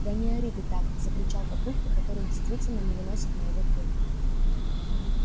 да не ори ты так закричал папулька который действительно не выносит моего пения